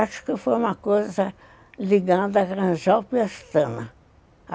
Acho que foi uma coisa ligada à Granjal Pestana.